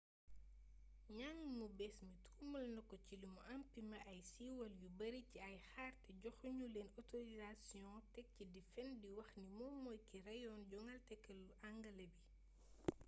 njang mu bees mi tuumal nako ci limu empimé ay siiwal yu bari ci ay kaar te joxu ñu leen otorisasiyoŋ tek ci di fen di wax ni moom mooy ki reyoon jangalekatu angale bi